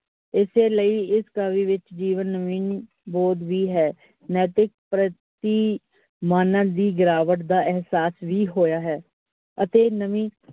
ਇਸੇ ਲਈ, ਇਸ ਕਾਵਿ ਵਿਚ ਜੀਵਨ ਨਵੀਨ ਬੋਧ ਵੀ ਹੈ । ਨੈਤਿਕ ਪ੍ਰਤਿ ਮਾਨਵ ਦੀ ਗਿਰਾਵਟ ਦਾ ਅਹਸਾਸ ਵੀ ਹੋਇਆ ਹੈ, ਅਤੇ ਨਵੀ.